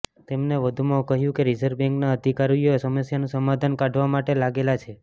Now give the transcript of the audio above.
તેમને વધુમાં કહ્યું કે રિઝર્વ બેન્કના અધિકારીઓ સમસ્યાનું સમાધાન કાઢવા માટે લાગેલા છે